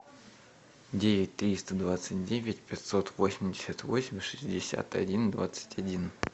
девять триста двадцать девять пятьсот восемьдесят восемь шестьдесят один двадцать один